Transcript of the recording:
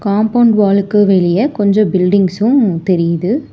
Compound வாலுக்கு வெளிய கொஞ்சோ பில்டிங்சு தெரியுது.